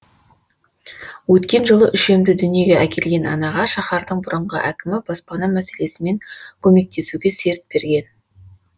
өткен жылы үшемді дүниеге әкелген анаға шаһардың бұрынғы әкімі баспана мәселесімен көмектесуге серт берген